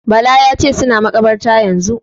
Bala ya ce "suna makabartar yanzun".